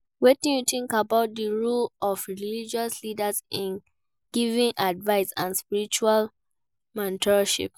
Wetin you think about di role of religious leaders in giving advice and spiritual mentorship?